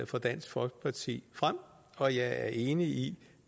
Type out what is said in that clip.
fra dansk folkeparti frem og jeg er enig i